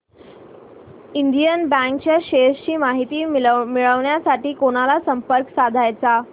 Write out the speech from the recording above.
Indian bank च्या shares ची माहिती मिळविण्यासाठी कोणाला संपर्क साधायचा